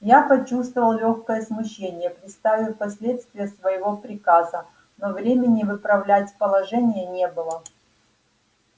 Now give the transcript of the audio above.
я почувствовал лёгкое смущение представив последствия своего приказа но времени выправлять положение не было